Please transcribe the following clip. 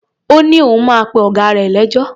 Ó ní òun máa pe ọ̀gá rè lẹ́jọ́.